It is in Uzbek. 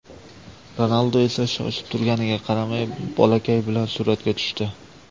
Ronaldu esa shoshib turganiga qaramay bolakay bilan suratga tushdi.